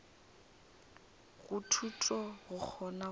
go thuto go kgona go